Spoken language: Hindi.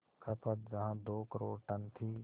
खपत जहां दो करोड़ टन थी